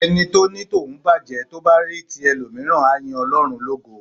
Ẹni bá ní tòun bàjé, tó bá rí tí ẹlòmíràn á yín Ọlọ́run lógo.